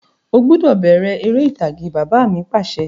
O gbọ́dọ̀ bẹ̀rẹ̀ ère ìtàgé! Bàbá mi Pàṣẹ.